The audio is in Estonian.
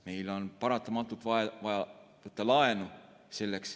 Meil on paratamatult vaja võtta laenu.